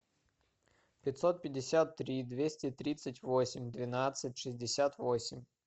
пятьсот пятьдесят три двести тридцать восемь двенадцать шестьдесят восемь